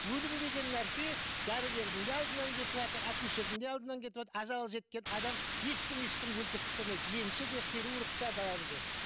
өлім деген нәрсе дәрігердің де алдынан кетіватыр акушердің де алдынан кетіватыр ажалы жеткен адам ешкім ешкімді өлтіріп тастамайды емші де хирург те бәрі де